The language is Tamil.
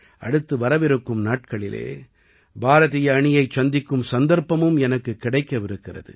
அடுத்து வரவிருக்கும் நாட்களில் பாரதிய அணியைச் சந்திக்கும் சந்தர்ப்பமும் எனக்குக் கிடைக்கவிருக்கிறது